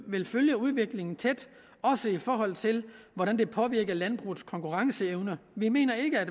vil følge udviklingen tæt også i forhold til hvordan det påvirker landbrugets konkurrenceevne vi mener ikke at